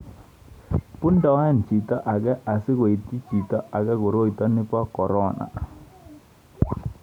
bundoen chito age asikuityi chito age koroita nito bo korona